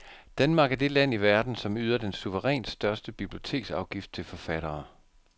Danmark er det land i verden, som yder den suverænt største biblioteksafgift til forfattere.